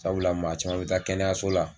Sabula maa caman bɛ taa kɛnɛyaso la